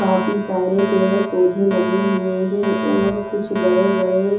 काफी सारे पेड़-पौधे लगे हुए हैं और कुछ बड़े-बड़े--